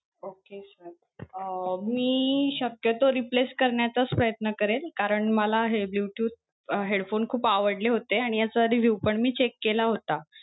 Okay sir. Um मी शक्यतो replace करण्याचाच प्रयत्न करेन कारण मला हे bluetooth अं headphone खूप आवडले होते आणि ह्याचा review पण check केला होता.